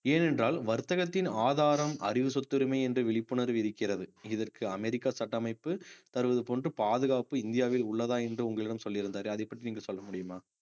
ஏனென்றால் வர்த்தகத்தின் ஆதாரம் அறிவு சொத்துரிமை என்ற விழிப்புணர்வு இருக்கிறது இதற்கு அமெரிக்கா சட்டமைப்பு தருவது போன்று பாதுகாப்பு இந்தியாவில் உள்ளதா என்று உங்களிடம் சொல்லி இருந்தாரே அதைப் பற்றி நீங்கள் சொல்ல முடியுமா